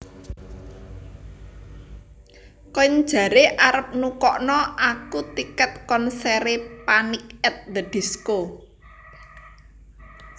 Koen jare arep nukokno aku tiket konsere Panic at the Disco